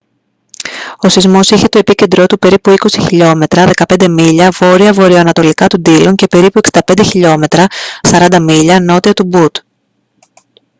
ο σεισμός είχε το επίκεντρό του περίπου 20 χιλιόμετρα 15 μίλια βόρεια-βορειοανατολικά του ντίλον και περίπου 65 χιλιόμετρα 40 μίλια νότια του μπουτ